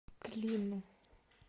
клину